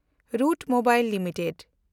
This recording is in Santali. route Mobile limited